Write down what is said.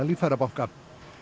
líffærabanka